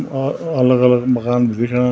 औ अ अलग अलग मकान भी दिखेणा।